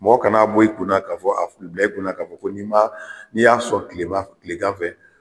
Mɔgɔ kan'a bɔ i kun na ka fɔ abila i kunna k'a fɔ n'i m'a n'i y'a sɔn kilema kilegan fɛ